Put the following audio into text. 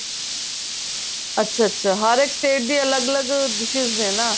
ਅੱਛਾ ਅੱਛਾ ਹਰ ਇੱਕ state ਦੀ ਅੱਲਗ ਅੱਲਗ dishes ਨੇ ਨਾ